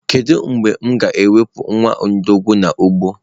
Kedu mgbe m ga-ewepụ nwa ọbọgwụ n'ugbo?